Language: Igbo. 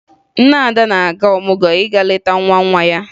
Nne Ada na-aga ọmụgwọ ịga leta nwa nwa ya